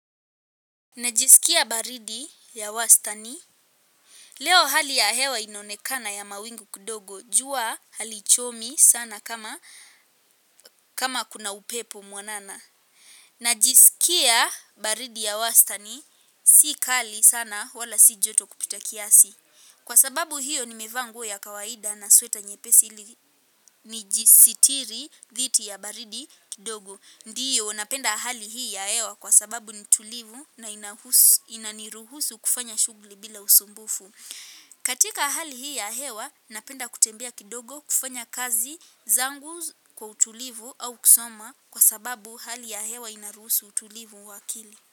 Najisikia baridi ya wastani. Leo hali ya hewa inonekana ya mawingu kidogo. Jua halichomi sana kama kuna upepo mwanana. Najisikia baridi ya wasstani. Si kali sana wala si joto kupita kiasi. Kwa sababu hiyo nimevaa nguo ya kawaida na sweta nyepesi nijisitiri dhidi ya baridi kudogo. Ndiyo, napenda hali hii ya hewa kwa sababu ni tulivu na inaniruhusu kufanya shughli bila usumbufu. Katika hali hii ya hewa, napenda kutembea kidogo kufanya kazi zangu kwa utulivu au kusoma kwa sababu hali ya hewa inaruhusu utulivu wa akili.